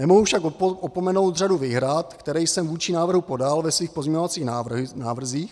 Nemohu však opomenout řadu výhrad, které jsem vůči návrhu podal ve svých pozměňovacích návrzích.